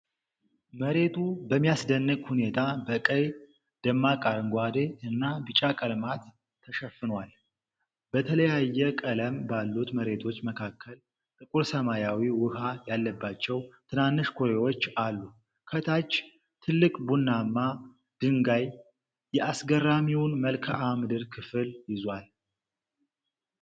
መሬቱ በሚያስደንቅ ሁኔታ በቀይ፣ ደማቅ አረንጓዴ እና ቢጫ ቀለማት ተሸፍኗል። በተለያየ ቀለም ባሉት መሬቶች መካከል ጥቁር ሰማያዊ ውሃ ያለባቸው ትናንሽ ኩሬዎች አሉ። ከታች ትልቅ ቡናማ ድንጋይ የአስገራሚውን መልክዓ ምድር ክፍል ይዟል።